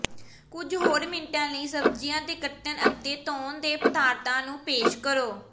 ਕੁਝ ਹੋਰ ਮਿੰਟਾਂ ਲਈ ਸਬਜ਼ੀਆਂ ਦੇ ਕੱਟਣ ਅਤੇ ਤੌਣ ਦੇ ਪਦਾਰਥਾਂ ਨੂੰ ਪੇਸ਼ ਕਰੋ